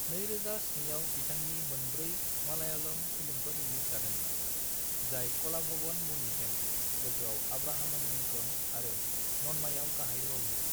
2007 आव बिथांनि मोनब्रै मलयालम फिल्मफोर रिलिज जादोंमोन, जाय कलाभवन मणिजों लोगोआव आब्राहम एण्ड लिंकन आरो नन्मायाव गाहाय रलमोन।